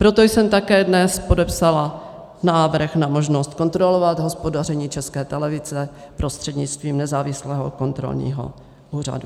Proto jsem také dnes podepsala návrh na možnost kontrolovat hospodaření České televize prostřednictvím nezávislého kontrolního úřadu.